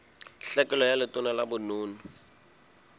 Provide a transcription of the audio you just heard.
tlhekelo ka letona la bonono